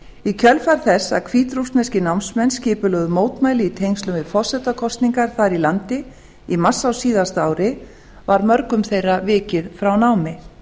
í kjölfar þess að hvítrússneskir námsmenn skipulögðu mótmæli í tengslum við forsetakosningar þar í landi í mars á síðasta ári var mörgum þeirra vikið frá námi